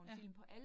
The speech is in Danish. Ja